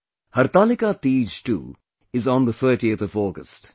Hartalika Teej too is on the 30th of August